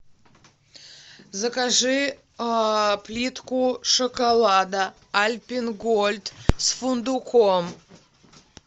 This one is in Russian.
закажи плитку шоколада альпен гольд с фундуком